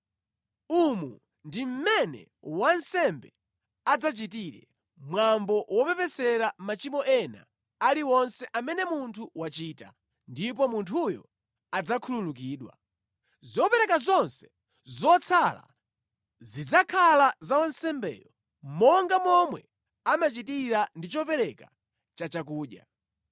Umu ndi mmene wansembe adzachitire mwambo wopepesera machimo ena aliwonse amene munthu wachita, ndipo munthuyo adzakhululukidwa. Zopereka zonse zotsala zidzakhala za wansembeyo monga momwe amachitira ndi chopereka chachakudya.’ ”